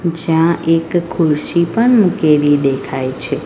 જ્યાં એક ખુરશી પણ મૂકેલી દેખાય છે.